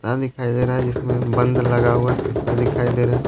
दिखाई दे रहा है जिसमें बंद लगा हुआ शीशा दिखाई दे रहा है।